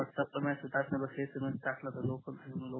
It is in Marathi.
व्हाट्सअँप वर मेसेज टाकण्या पेक्षा SMS टाकल तरी होते